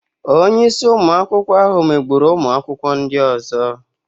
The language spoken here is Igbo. Onye isi ụmụ akwụkwọ ahụ megburu ụmụ akwụkwọ ndị ọzọ.